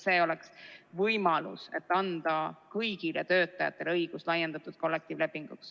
See oleks võimalus anda kõigile töötajatele õigus laiendatud kollektiivlepingule.